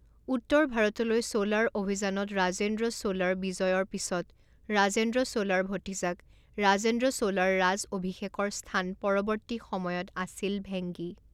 উত্তৰ ভাৰতলৈ চোলাৰ অভিযানত ৰাজেন্দ্ৰ চোলাৰ বিজয়ৰ পিছত ৰাজেন্দ্ৰ চোলাৰ ভতিজাক ৰাজেন্দ্ৰ চোলাৰ ৰাজ অভিষেকৰ স্থান পৰৱৰ্তী সময়ত আছিল ভেংগী৷